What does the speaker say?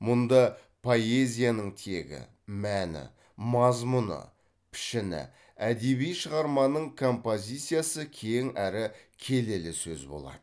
мұнда поэзияның тегі мәні мазмұны пішіні әдеби шығарманың композициясы кең әрі келелі сөз болады